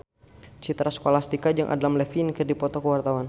Citra Scholastika jeung Adam Levine keur dipoto ku wartawan